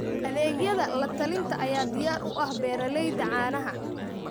Adeegyada la-talinta ayaa diyaar u ah beeralayda caanaha.